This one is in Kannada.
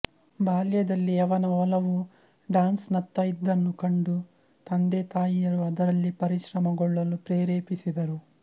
ಬಾಲ್ಯದಲ್ಲಿ ಅವನ ಒಲವು ಡಾನ್ಸ್ನತ್ತ ಇದ್ದನ್ನು ಕಂಡು ತಂದೆತಾಯಿಯರು ಅದರಲ್ಲಿ ಪರಿಶ್ರಮಗೊಳ್ಳಲು ಪ್ರೇರೇಪಿಸಿದರು